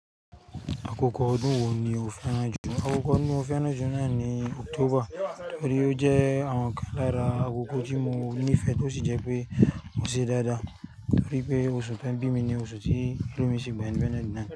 Àkókò ọdún wo ni o fẹ́ràn jù? Àkókò ọdún mo fẹ́ràn juna ni October, nítorí ó jẹ́ àwọn kan lára àkókò tí mo nífẹ̀ tó sì jẹ́ pé ó ṣe dáda. Bí pé oṣù tí wọ́n bí mi ni oṣù tí.